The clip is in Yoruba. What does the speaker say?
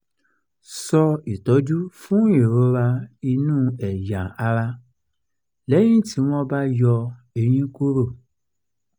so itọju fún ìrora inú ẹ̀yà ara lẹ́yìn tí wọ́n bá yọ eyín kúrò